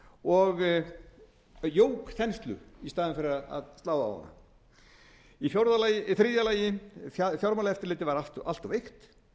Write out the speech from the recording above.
og jók þenslu í staðinn fyrir að slá á hana þriðja fjármálaeftirlitið var allt of veikt